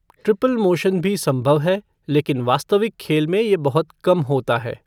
Triple motion भी संभव है, लेकिन वास्तविक खेल में ये बहुत कम होता है।